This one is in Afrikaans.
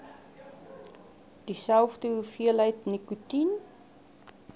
dieselfde hoeveelheid nikotien